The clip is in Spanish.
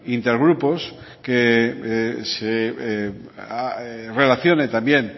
intergrupos que se relacione también